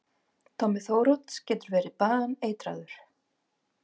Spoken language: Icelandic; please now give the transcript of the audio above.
Tommi Þórodds getur verið baneitraður!